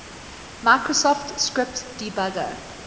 microsoft script debugger